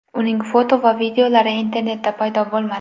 Uning foto va videolari internetda paydo bo‘lmadi.